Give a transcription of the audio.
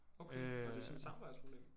Okay nåh det sådan et samarbejdsproblem?